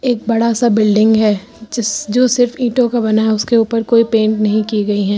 एक बड़ा सा बिल्डिंग है जिस जो सिर्फ ईटों का बना है उसके ऊपर कोई पेंट नहीं की गई है।